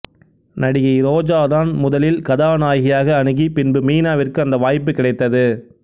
நடிகை ரோஜாதான் முதலில் கதாநாயகியாக அணுகி பின்பு மீனாவிற்கு அந்த வாய்ப்பு கிடைத்தது